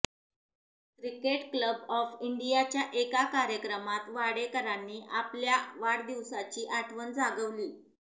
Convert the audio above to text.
cricket club of इंडियाच्या एका कार्यक्रमात वाडेकरांनी आपल्या वाढदिवसाची आठवण जागवली